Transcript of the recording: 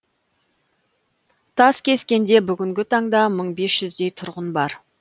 таскескенде бүгінгі таңда мың бес жүздей тұрғын бар